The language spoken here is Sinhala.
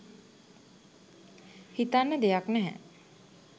හිතන්න දෙයක් නැහැ